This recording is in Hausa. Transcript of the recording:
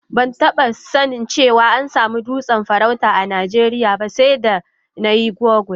Ban taba sanin cewa an samu dutsen farauta a Najeriya ba sai da na yi google.